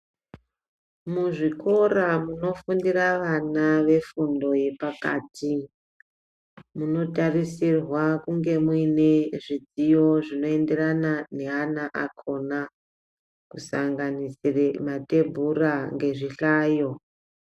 Muzvikora munofundira vana vefundo yepakati, munotarisirwa kunge muine zvidziyo zvinoenderana neana akhona, kusanganisire mathebhura ngezvihlayo.